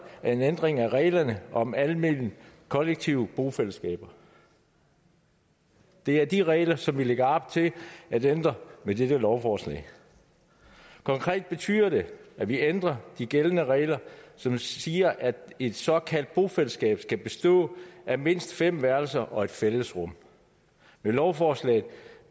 en ændring af reglerne om almene kollektive bofællesskaber det er de regler som vi lægger op til at ændre med dette lovforslag konkret betyder det at vi ændrer de gældende regler som siger at et såkaldt bofællesskab skal bestå af mindst fem værelser og et fællesrum med lovforslaget